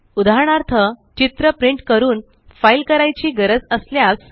उदाहरणार्थ चित्र प्रिंट करून फ़ाइल करायची गरज असल्यास